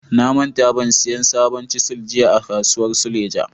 Na manta ban siyan sabon chisel jiya a kasuwar suleja.